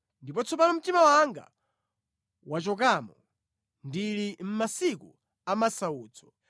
“Ndipo tsopano mtima wanga wachokamo; ndili mʼmasiku amasautso.